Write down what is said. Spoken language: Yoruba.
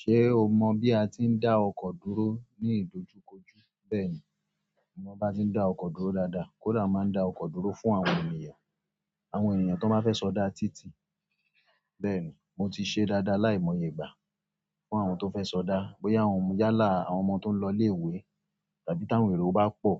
Ṣé o mọ bí a ti ń dá ọkọ̀ dúró ní ìdojúkojú? Bẹ́ẹ̀ni, mo mọ bi a ti n da oko dúró dáadáa. Kódà máa ń dá ọkọ̀ dúró fún àwọn ènìyàn, àwọn ènìyàn tó bá fẹ́ sọdá títì. Bẹ́ẹ̀ni, mo ti ṣe dáadáa láìmọye ìgbà fún àwọn tó fẹ́ sọdá, bóyá àwọn yálà, àwọn ọmọ tó ń lọ ilé-ìwé tàbí táwọn èrò bá pọ̀